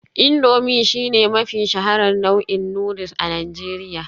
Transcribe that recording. Indomie shine mafi shaharar nau'in noodles a Najeriya